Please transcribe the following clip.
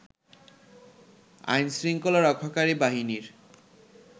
আইন শৃঙ্খলা রক্ষাকারী বাহিনীর